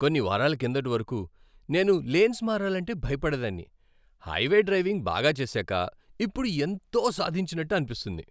కొన్ని వారాల కిందటి వరకు, నేను లేన్స్ మారాలంటే భయపడేదాన్ని, హైవే డ్రైవింగ్ బాగా చేసాక ఇప్పుడు ఎంతో సాధించినట్లు అనిపిస్తుంది!